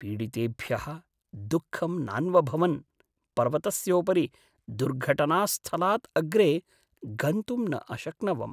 पीडितेभ्यः दुःखं नान्वभवन् पर्वतस्योपरि दुर्घटनास्थलात् अग्रे गन्तुं न अशक्नवम्।